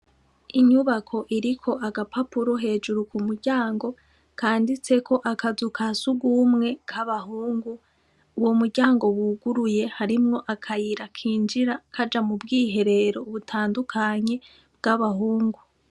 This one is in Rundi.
Inyubako iriko agapapuro hejuru ku muryango kanditseko akazu ka sugumwe k'abahungu uwo muryango buguruye harimwo akayira kinjira kaja mu bwiherero butandukanye bw'abahungu.